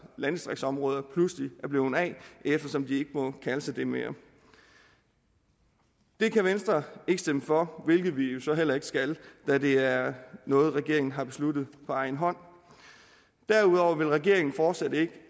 landdistriktsområder pludselig er blevet af eftersom de ikke må kalde sig det mere det kan venstre ikke stemme for hvilket vi jo så heller ikke skal da det er noget regeringen har besluttet på egen hånd derudover vil regeringen fortsat ikke